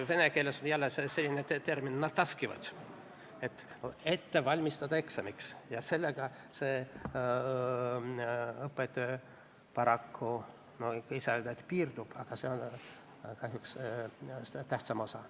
Vene keeles on termin nataskivat – eksamiks ette valmistama – ja sellega see õpetaja paraku, ei saa öelda, et piirdub, aga see on kahjuks tähtsam osa.